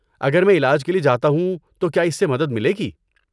اگر میں علاج کے لیے جاتا ہوں تو کیا اس سے مدد ملے گی؟